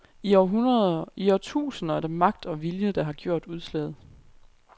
I århundreder, i årtusinder er det magt og vilje, der har gjort udslaget.